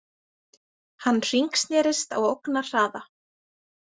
Hann hringsnerist á ógnarhraða.